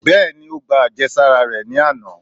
Beení, o gbá ajésárá re ní anà